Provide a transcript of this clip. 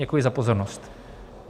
Děkuji za pozornost.